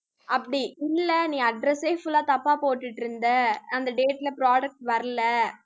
அப்படி இல்லை நீ address ஏ full ஆ தப்பா போட்டுட்டிருந்த அந்த date ல products வரலை